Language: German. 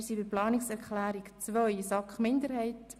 Wir kommen zur Planungserklärung 2 der SAK-Minderheit.